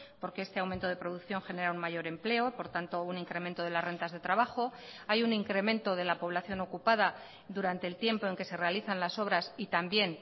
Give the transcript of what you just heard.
porque este aumento de producción genera un mayor empleo por tanto un incremento de las rentas de trabajo hay un incremento de la población ocupada durante el tiempo en que se realizan las obras y también